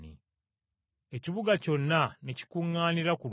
Ekibuga kyonna ne kikuŋŋaanira ku luggi.